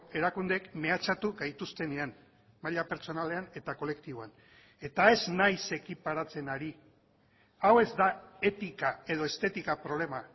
erakundeek mehatxatu gaituztenean maila pertsonalean eta kolektiboan eta ez naiz ekiparatzen ari hau ez da etika edo estetika problema